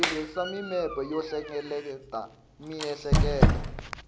tirhisa mimepe yo hlengeleta miehleketo